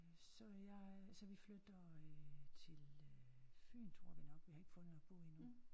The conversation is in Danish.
Så jeg så vi flytter øh til Fyn tror vi nok vi har ikke fundet noget at bo i endnu